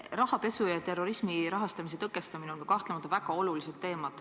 Rahapesu ja terrorismi rahastamise tõkestamine on kahtlemata väga olulised teemad.